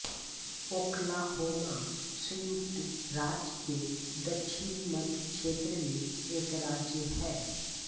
Oklahoma संयुक्त राज्य के दक्षिण मध्य क्षेत्र में एक राज्य है